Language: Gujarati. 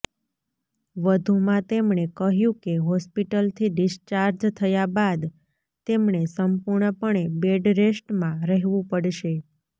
વધુમાં તેમણે કહ્યુ કે હોસ્પિટલથી ડિસ્ચાર્જ થયા બાદ તેમણે સંપૂર્ણપણે બેડ રેસ્ટમાં રહેવુ પડશે